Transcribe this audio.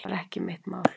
Það var ekki mitt mál.